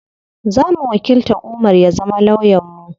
Zamu wakilta Umar ya zama lawyan mu.